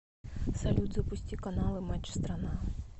салют запусти каналы матч страна